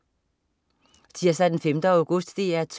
Tirsdag den 5. august - DR 2: